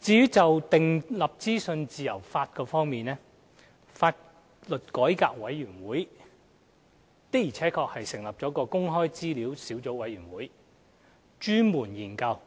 至於訂立資訊自由法方面，香港法律改革委員會的確成立了公開資料小組委員會，專門研究